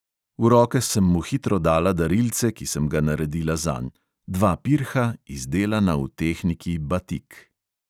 V roke sem mu hitro dala darilce, ki sem ga naredila zanj – dva pirha, izdelana v tehniki batik.